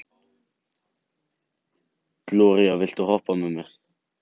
Gloría, viltu hoppa með mér?